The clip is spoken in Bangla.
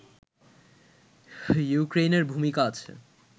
ইউক্রেইনের ভূমিকা আছে